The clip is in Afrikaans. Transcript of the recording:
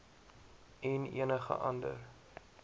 en enige ander